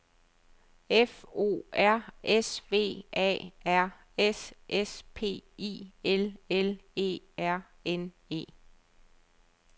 F O R S V A R S S P I L L E R N E